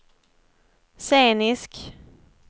scenisk